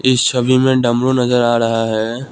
इस छवि मे डमरू नजर आ रहा है।